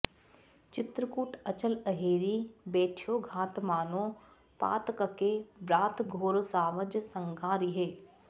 चित्रकूट अचल अहेरि बैठ्यो घात मानो पातकके ब्रात घोर सावज सँघारिहै